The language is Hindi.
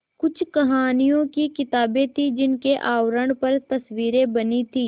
कुछ कहानियों की किताबें थीं जिनके आवरण पर तस्वीरें बनी थीं